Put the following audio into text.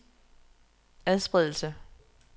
adspredelse